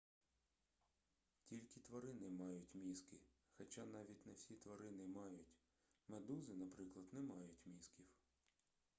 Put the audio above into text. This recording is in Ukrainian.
тільки тварини мають мізки хоча навіть не всі тварини мають; медузи наприклад не мають мізків